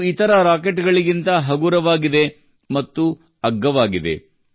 ಇದು ಇತರ ರಾಕೆಟ್ಗಳಿಗಿಂತ ಹಗುರವಾಗಿದೆ ಮತ್ತು ಅಗ್ಗವಾಗಿದೆ